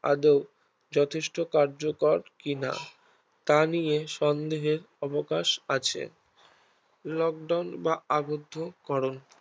আদৌ যথেষ্ঠ কার্যকর কিনা তা নিয়ে সন্দেহের অবকাশ আছে Lockdown বা আবদ্ধকরন